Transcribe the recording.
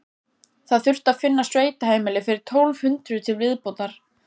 Það þurfti að finna sveitaheimili fyrir tólf hundruð til viðbótar.